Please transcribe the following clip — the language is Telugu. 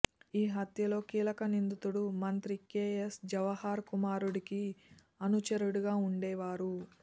ఈ హత్యలో కీలక నిందితుడు మంత్రి కేఎస్ జవహర్ కుమారుడికి అనుచరుడిగా ఉండేవారు